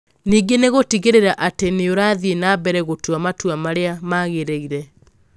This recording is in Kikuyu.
Ningĩ nĩ gũtigĩrĩra atĩ nĩ ũrathiĩ na mbere gũtua matua marĩa magĩrĩire.